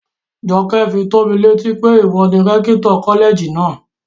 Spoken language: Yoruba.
Jọkẹ́ fi tómi létí pé ìwọ ni rẹ́kítọ̀ kọ́lẹ̀jì náà